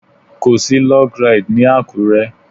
Kò sí Log Ride ní Àkúré.